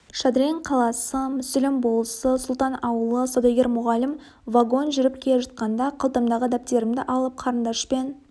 шадрин қаласы мүсілім болысы сұлтан ауылы саудагер мұғалім вагон жүріп келе жатқанда қалтамдағы дәптерімді алып қарындашпен